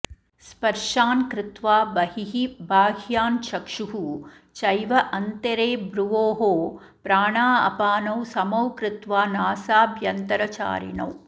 स्पर्शान् कृत्वा बहिः बाह्यान् चक्षुः चैव अन्तरे भ्रुवोः प्राणापानौ समौ कृत्वा नासाभ्यन्तरचारिणौ